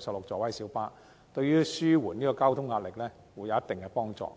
16座位的小巴，對於紓緩交通壓力會有一定幫助。